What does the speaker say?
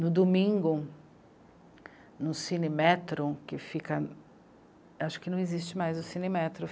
No domingo, no Cinemetro, que fica... Acho que não existe mais o Cinemetro.